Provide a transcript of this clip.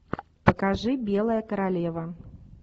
покажи белая королева